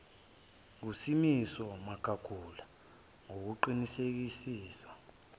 ngusimiso magagula ngokuqinisekisa